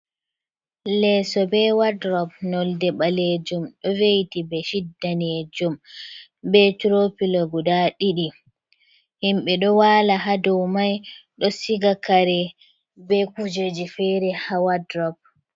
Leeso be wadrop nolde ɓalejum ɗo veyiti bedshit danejum be tropilo guda ɗiɗi himbe ɗo wala hado mai ɗo siga kare be kujeji fere ha wadrop.